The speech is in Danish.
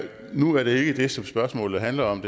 nu er det jo ikke det som spørgsmålet handler om